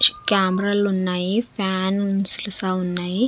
కామెరాలు ఉన్నాయి ఫ్యాన్స్ ఉన్నాయి.